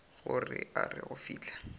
gore a re go fihla